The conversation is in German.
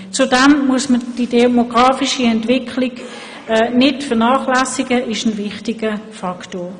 Zudem darf man die demografische Entwicklung nicht vernachlässigen, sie ist ein wichtiger Faktor.